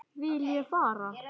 Vil ég fara?